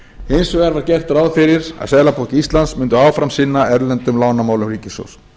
hins vegar var gert ráð fyrir að seðlabanki íslands myndi áfram sinna erlendum lánamálum ríkissjóðs